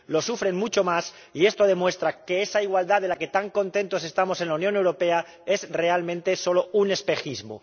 Lo sufren mucho más, y esto demuestra que esa igualdad de la que tan contentos estamos en la Unión Europea es realmente solo un espejismo.